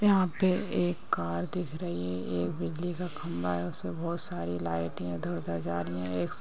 यहां पे एक कार दिख रही है एक बिजली का खंभा है उसपे बहुत सारी लाइट इधर - उधर जा रही है। एक--